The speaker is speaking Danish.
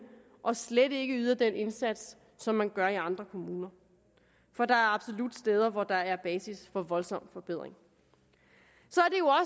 og slet ikke yder den indsats som man gør i andre kommuner for der er absolut steder hvor der er basis for en voldsom forbedring